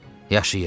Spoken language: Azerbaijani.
Yaşayır!